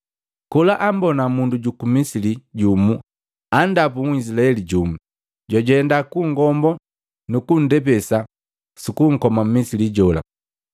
Kola ambona mundu juku Misili jumu andapu Nhizilaeli jumu, jwajenda kungombo nukundepese sukunkoa mmisili jola.